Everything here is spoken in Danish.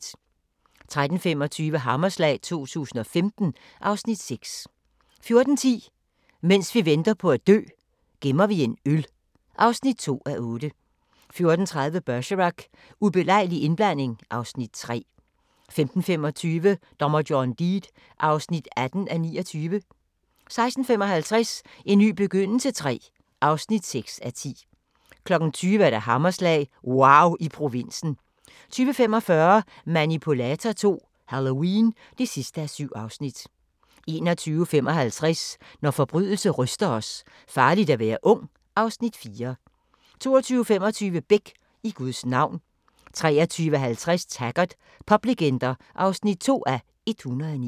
13:25: Hammerslag 2015 (Afs. 6) 14:10: Mens vi venter på at dø – Gemmer vi en øl (2:8) 14:30: Bergerac: Ubelejlig indblanding (Afs. 3) 15:25: Dommer John Deed (18:29) 16:55: En ny begyndelse III (6:10) 20:00: Hammerslag – wauw i provinsen 20:45: Manipulator II - Halloween (7:7) 21:55: Når forbrydelse ryster os: Farligt at være ung (Afs. 4) 22:25: Beck: I Guds navn 23:50: Taggart: Poplegender (2:109)